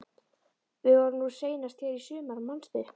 Við vorum nú seinast hér í sumar, manstu?